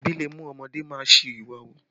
Ebi le mú ọmọdé má a ṣi ìwà hù